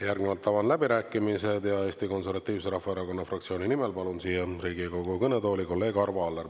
Järgnevalt avan läbirääkimised ja Eesti Konservatiivse Rahvaerakonna fraktsiooni nimel palun siia Riigikogu kõnetooli kolleeg Arvo Allari.